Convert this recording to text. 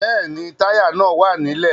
Bẹ́ẹ̀ni, Táyà náà wà nílẹ̀